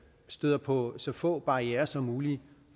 støder på så få barrierer som muligt